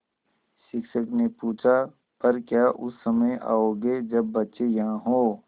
शिक्षक ने पूछा पर क्या उस समय आओगे जब बच्चे यहाँ हों